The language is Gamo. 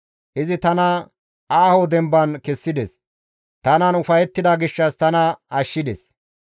Izi tana aaho demban kessides; tanan ufayettida gishshas tana ashshides.